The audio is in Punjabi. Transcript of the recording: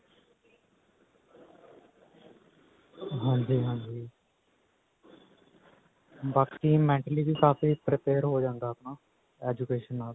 ਹਾਂਜੀ ਹਾਂਜੀ ਬਾਕੀ mentally ਵੀ ਕਾਫੀ prepare ਹੋ ਜਾਂਦਾ ਹੈ ਨਾ education ਨਾਲ